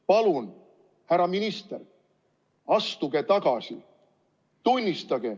Palun, härra minister, astuge tagasi!